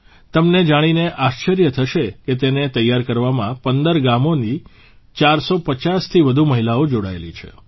તમને જાણીને આશ્ચર્ય થશે કે તેને તૈયાર કરવામાં ૧૫ ગામોની ૪50થી વધુ મહિલાઓ જોડાયેલી છે